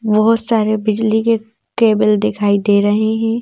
बहोत सारे बिजली के केबल दिखाई दे रहे हैं।